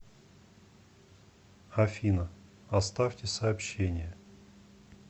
афина оставьте сообщение